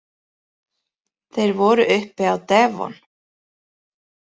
Þeir voru uppi á devon.